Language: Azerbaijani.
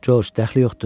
Coç daxli yoxdur.